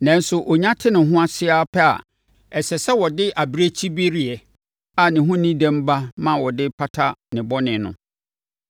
Nanso ɔnya te ne ho ase ara pɛ a, ɛsɛ sɛ ɔde abirekyibereɛ a ne ho nni dɛm ba ma wɔde pata ne bɔne no.